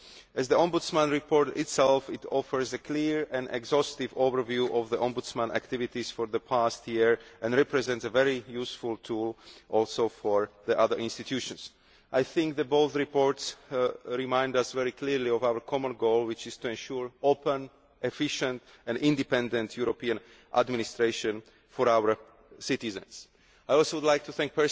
As the Ombudsman reported himself, it offers a clear and exhaustive overview of the Ombudsman's activities for the past year and represents a very useful tool for the other institutions as well. Both reports remind us very clearly of our common goal, which is to ensure open, efficient and independent European administration for our citizens. I would also like to thank